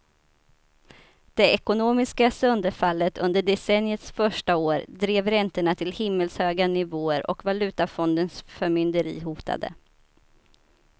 Det ekonomiska sönderfallet under decenniets första år drev räntorna till himmelshöga nivåer och valutafondens förmynderi hotade.